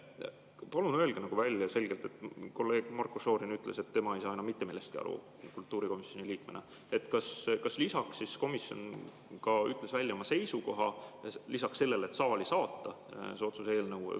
Palun öelge selgelt välja – kolleeg Marko Šorin ütles, et tema ei saa kultuurikomisjoni liikmena enam mitte millestki aru –, kas komisjon ütles välja ka oma seisukoha lisaks sellele, et see eelnõu saali saata.